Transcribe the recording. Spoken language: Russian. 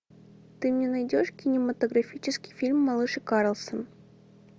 ты мне найдешь кинематографический фильм малыш и карлсон